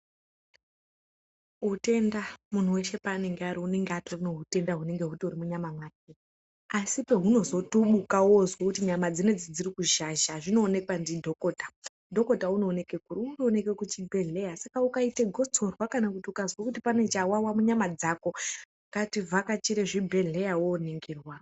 Utenda, munhu weshe paanenge ari unenge atori nehutenda hunenge hutori munyama make asi pahunozotubuka wozwe kuti nyama dzino idzi dziri kuzhazha zvinoonekwa ndidhokota, Dhokota unoonekwe kuri, unoonekwe kuchibhedyeya saka ukaita gotsorwaa kana ukazwe kuti pane chawawa munyama dzako, ngativhakachire chibhedyeya woningirwa.